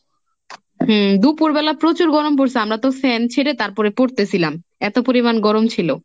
হুম দুপুরবেলা প্রচুর গরম পড়সে, আমরা তো fan ছেড়ে তারপরে পড়তেছিলাম, এত পরিমান গরম ছিল।